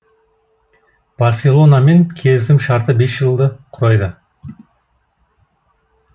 барселонамен келісім шарты бес жылды құрайды